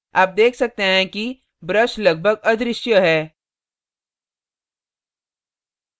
आप देख सकते हैं कि brush लगभग अदृश्य है